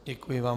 Děkuji vám.